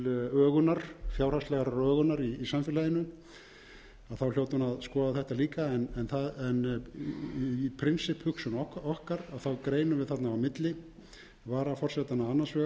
hér til ögunar fjárhagslegrar ögunar í samfélaginu hljóti hún að skoða þetta líka en í prinsipphugsun okkar greinum við þarna á milli varaforsetanna annars vegar og hins vegar þessara